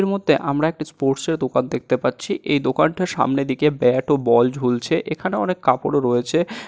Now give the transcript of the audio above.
এই মুহূর্তে আমরা একটা ষ্পোর্টস এর দোকান দেখতে পাচ্ছি। এই দোকানটা সামনে দিকে ব্যাট ও বল ঝুলছে এখানে অনেক কাপড় রয়েছে।